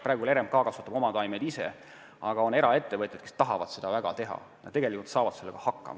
Praegu kasvatab RMK oma taimed ise, aga on ka eraettevõtjaid, kes väga tahavad seda teha ja tegelikult saavad sellega ka hakkama.